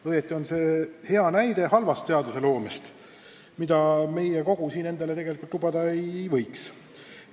Õieti on see hea näide halvast seadusloomest, mida meie kogu siin endale lubada ei võiks.